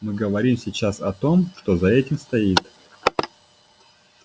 мы говорим сейчас о том что за этим стоит